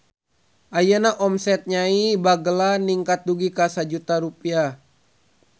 Ayeuna omset Nyai Bagelen ningkat dugi ka 1 juta rupiah